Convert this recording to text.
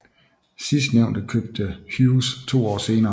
Sidstnævnte købte Hughes to år senere